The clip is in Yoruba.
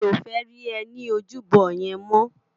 Mi ó fè ri è ni ójúbò yèn mò